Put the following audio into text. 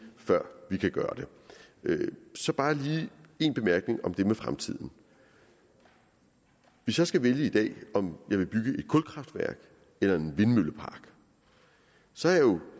før vi kan gøre det så bare lige en bemærkning om det med fremtiden hvis jeg skal vælge i dag om jeg vil bygge et kulkraftværk eller en vindmøllepark så